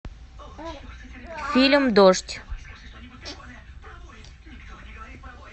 фильм дождь